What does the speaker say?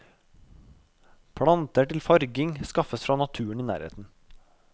Planter til farging skaffes fra naturen i nærheten.